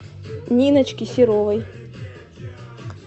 ниночки серовой